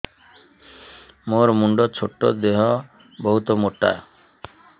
ମୋର ମୁଣ୍ଡ ଛୋଟ ଦେହ ବହୁତ ମୋଟା